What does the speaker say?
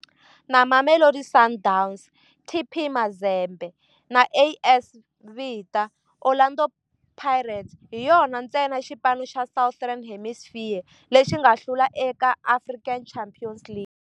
Na Mamelodi Sundowns, TP Mazembe na AS Vita, Orlando Pirates hi yona ntsena xipano xa Southern Hemisphere lexi nga hlula eka African Champions League.